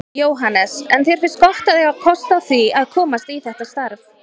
Jóhannes: En þér finnst gott að eiga kost á því að komast í þetta starf?